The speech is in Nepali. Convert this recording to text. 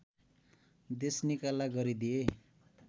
देशनिकाला गरिदिए